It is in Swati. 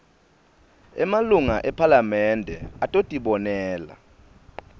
emalunga ephalamende atotibonela